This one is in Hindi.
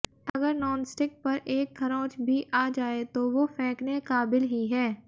अगर नॉनस्टिक पर एक खरोंच भी आ जाए तो वो फेेंकने काबिल ही है